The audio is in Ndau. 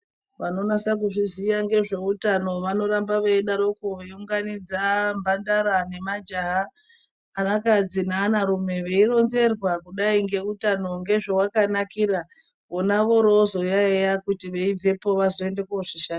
Vano nasa ku zviziya ngezve utano vano ramba vei daroko vei unganidza mbandara ne majaha ana kadzi ne ana rume vei ronzerwa kudai nge utano nge zvawaka nakira vona vori vozo yayiya kuti vei bvepo vazo ende ko zvishandisa.